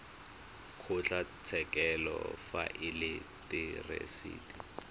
kgotlatshekelo fa e le therasete